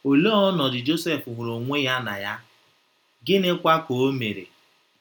Olee ọnọdụ Josef hụrụ onwe ya na ya, gịnịkwa ka o mere?